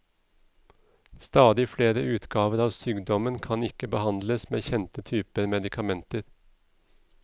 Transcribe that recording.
Stadig flere utgaver av sykdommen kan ikke behandles med kjente typer medikamenter.